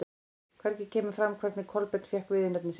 Hvergi kemur fram hvernig Kolbeinn fékk viðurnefni sitt.